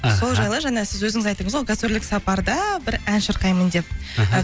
сол жайлы жаңа сіз өзіңіз айттыңыз ғой гастрольдік сапарда бір ән шырқаймын деп іхі